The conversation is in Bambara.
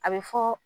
A bɛ fɔ